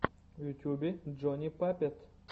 в ютюбе джони паппет